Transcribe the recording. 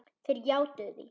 Þeir játuðu því.